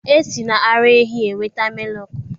E si n'ara ehi enweta mịlụkụ.